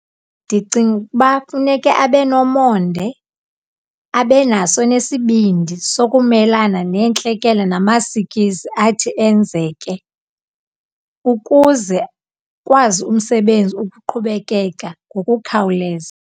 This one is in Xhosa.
Ndicinga ukuba funeka abe nomonde, abe naso nesibindi sokumelana neentlekele namasikizi athi enzeke ukuze ukwazi umsebenzi ukuqhubekeka ngokukhawuleza.